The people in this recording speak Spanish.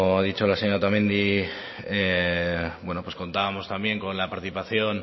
ha dicho la señora otamendi contábamos también con la participación